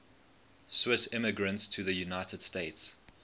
swiss immigrants to the united states